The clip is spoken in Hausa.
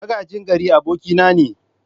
Magajin gari abokina ne.